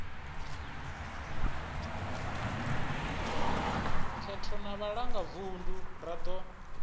khetho na vhalangavunḓu ra ḓo